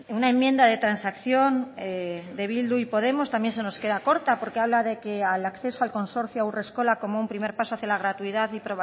una enmienda de transacción de bildu y podemos también se nos queda corta porque habla de que al acceso al consorcio haurreskolak como un primer paso hacia la gratuidad y